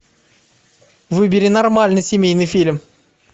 выбери нормальный семейный фильм